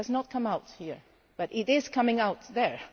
It has not come out here but it is coming out there.